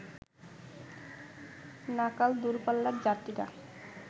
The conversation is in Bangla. নাকাল দুরপাল্লার যাত্রীরা